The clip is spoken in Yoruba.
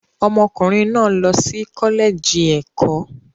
Ọmọkùnrin náà lọ sí kọ́lẹ́ẹ̀jì ẹ̀kọ́.